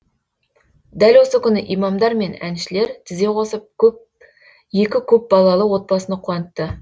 дәл осы күні имамдар мен әншілер тізе қосып екі көпбалалы отбасыны қуантты